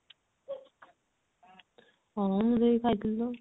ହଁ ମୁଁ ସେଇ ଖାଇଥିଲି ତ ଆଉ